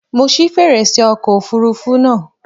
Mo ṣí fèrèsé ọkọ̀ òfurufú náà.